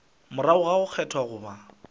morago ga go kgethwa goba